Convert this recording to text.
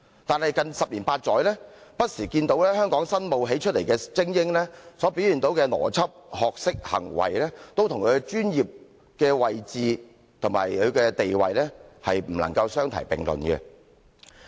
但是，近十年八載，香港新冒起出來的精英不時所表現的邏輯、學識、行為，都跟其專業位置和地位不能相提並論。